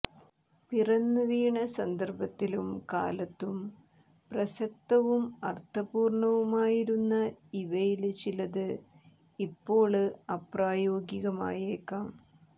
പിറന്നുവീണ സന്ദര്ഭത്തിലും കാലത്തും പ്രസക്തവും അര്ത്ഥപൂര്ണ്ണവുമായിരുന്ന ഇവയില് ചിലത് ഇപ്പോള് അപ്രായോഗികമായേക്കാം